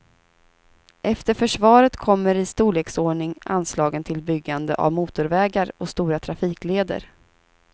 Efter försvaret kommer i storleksordning anslagen till byggande av motorvägar och stora trafikleder.